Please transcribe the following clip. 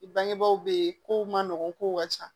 I bangebaaw bɛ yen kow man nɔgɔ kow ka ca